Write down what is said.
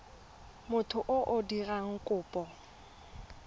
motho yo o dirang kopo